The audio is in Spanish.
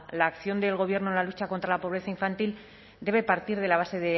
la acción del gobierno en la lucha contra la pobreza infantil debe partir de la base